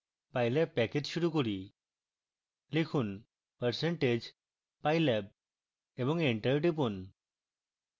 pylab package শুরু করি